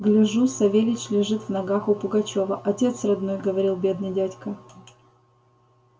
гляжу савельич лежит в ногах у пугачёва отец родной говорил бедный дядька